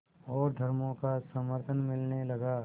और धर्मों का समर्थन मिलने लगा